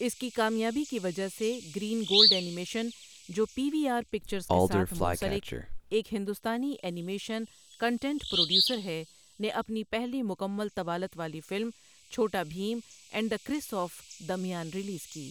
اس کی کامیابی کی وجہ سے، گرین گولڈ اینیمیشن، جو پی وی آر پکچرز کے ساتھ منسلک ایک ہندوستانی اینی میشن کانٹینٹ پروڈیوسر ہے، نے اپنی پہلی مکمل طوالت والی film Chhota Bheem and the Curse of Damyaan release کی۔